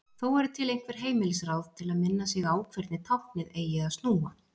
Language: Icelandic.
Þó eru til einhver heimilisráð til að minna sig á hvernig táknið eigi að snúa.